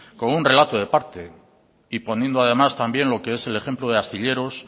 como un relato de parte y poniendo además también lo que es el ejemplo de astilleros